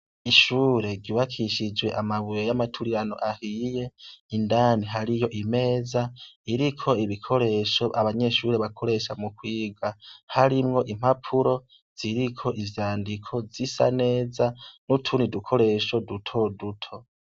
Ishure ryubakishijwe amabuye y'amaturirano ahiye. Indani hariyo imeza iriko ibikoresho abanyeshuri bakoresha mu kuyiga harimwo impapuro ziriko ivyandiko zisa neza, n'utundi dukoresho duto duto.